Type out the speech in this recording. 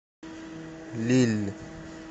лилль